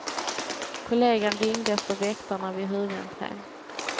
Kollegan ringde efter väktarna vid huvudentrén.